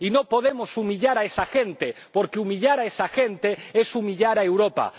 Y no podemos humillar a esa gente, porque humillar a esa gente es humillar a Europa.